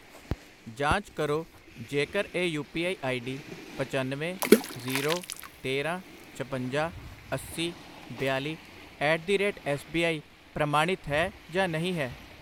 ਜਾਂਚ ਕਰੋ ਜੇਕਰ ਇਹ ਯੂ ਪੀ ਆਈ ਆਈਡੀ ਪੱਚਨਵੇਂ, ਜ਼ੀਰੋ, ਤੇਰਾਂ, ਛਪੰਜਾ, ਅੱਸੀ, ਬਿਆਲੀ at the rate S B I ਪ੍ਰਮਾਣਿਤ ਹੈ ਜਾਂ ਨਹੀਂ ਹੈ I